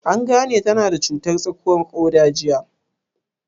An gane ta na da cutar tsakuwar ƙoda jiya?